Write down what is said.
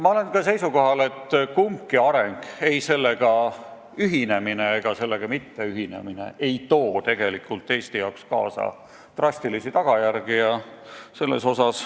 Ma olen ka seisukohal, et kumbki areng – ei sellega ühinemine ega sellega mitteühinemine – ei too tegelikult Eestile kaasa drastilisi tagajärgi.